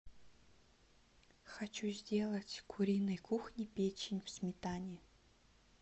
хочу сделать куриной кухни печень в сметане